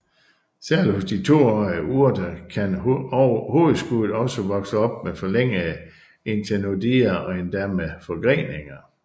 Særligt hos de toårige urter kan hovedskuddet også vokse op med forlængede internodier og endda med forgreninger